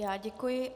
Já děkuji.